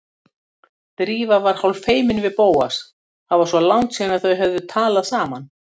Drífa var hálffeimin við Bóas, það var svo langt síðan þau höfðu talað saman.